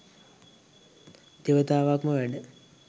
දෙවතාවක්ම වැඩ